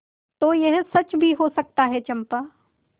तो यह सच भी हो सकता है चंपा